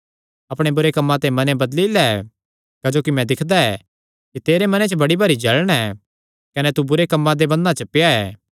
अपणे बुरे कम्मां ते मने बदली लै क्जोकि मैं दिक्खदा ऐ कि तेरे मने च बड़ी भारी जल़ण ऐ कने तू बुरे कम्मां दे बन्धनां च पेआ ऐ